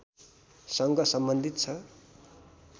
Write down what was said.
सँग सम्बन्धित छ